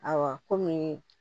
Ayiwa komi